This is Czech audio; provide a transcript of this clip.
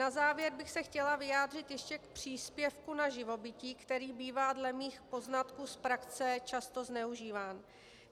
Na závěr bych se chtěla vyjádřit ještě k příspěvku na živobytí, který bývá dle mých poznatků z praxe často zneužíván.